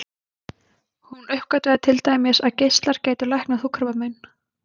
Hún uppgötvaði til dæmis að geislar gætu læknað húðkrabbamein.